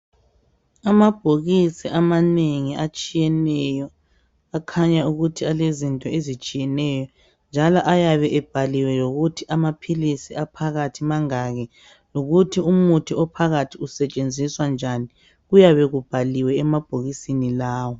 Amabhokisi amanengi atshiyeneyo akhanya ukuthi alezinto ezitshiyeneyo njalo ayabe ebhaliwe lokuthi amaphilisi aphakathi mangaki lokuthi umuthi ophakathi usetshenziswa njani. Kuyabe kubhaliwe emabhokisini lawa.